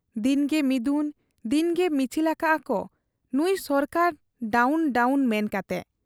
ᱫᱤᱱᱜᱮ ᱢᱤᱫᱩᱱ ᱫᱤᱱᱜᱮ ᱢᱤᱪᱷᱤᱞ ᱟᱠᱟᱜ ᱟ ᱠᱚ 'ᱱᱩᱸᱭ ᱥᱚᱨᱠᱟᱨ ᱰᱟᱣᱱ ᱰᱟᱣᱱ' ᱢᱮᱱ ᱠᱟᱛᱮ ᱾